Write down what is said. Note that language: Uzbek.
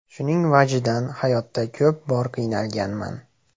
Shuning vajidan hayotda ko‘p bor qiynalganman.